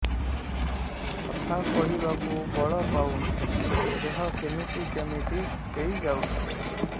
କଥା କହିବାକୁ ବଳ ପାଉନି ଦେହ କେମିତି କେମିତି ହେଇଯାଉଛି